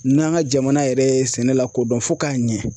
N'an ka jamana yɛrɛ ye sɛnɛ lakodɔn fo k'a ɲɛ